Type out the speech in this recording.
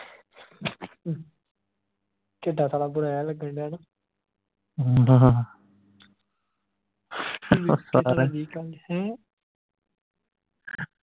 ਕਿੱਦਾਂ ਸਾਲਾ ਜਿਹਾ ਲਗਣ ਢਯਾ ਨਾ ਹੈਂ